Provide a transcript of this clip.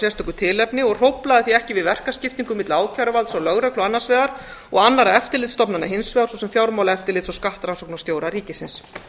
sérstöku tilefni og hróflaði því ekki við verkaskiptingu milli ákæruvalds og lögreglu annars vegar og annarra eftirlitsstofnana hins vegar svo sem fjármálaeftirlits og skattrannsóknarstjóra ríkisins